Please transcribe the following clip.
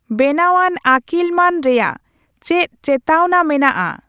ᱵᱮᱱᱟᱣᱟᱱ ᱟᱹᱠᱤᱞᱢᱟᱱ ᱨᱮᱭᱟᱜ ᱪᱮᱫ ᱪᱮᱛᱟᱣᱱᱟ ᱢᱮᱱᱟᱜᱼᱟ